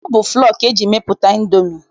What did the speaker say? Ọ bụ flọ ka eji mepụta Indomi